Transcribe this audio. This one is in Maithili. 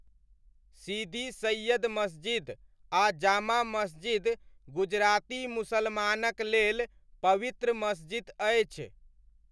सिदी सैय्यद मसजिद आ जामा मसजिद गुजराती मुसलमानक लेल पवित्र मसजिद अछि।